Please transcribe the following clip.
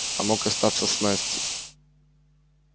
а мог остаться с настей